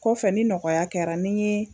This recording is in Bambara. Kɔfɛ ni nɔgɔya kɛra ne ye.